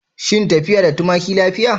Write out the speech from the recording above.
Shin tafiya da tumaki lafiya?